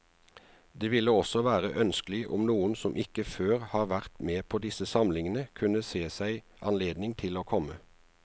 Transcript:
Det ville også være ønskelig om noen som ikke før har vært med på disse samlingene, kunne se seg anledning til å komme.